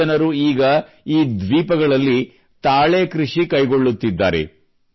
ಈ ಜನರು ಈಗ ಈ ದ್ವೀಪಗಳಲ್ಲಿ ತಾಳೆ ಕೃಷಿ ಕೈಗೊಳ್ಳುತ್ತಿದ್ದಾರೆ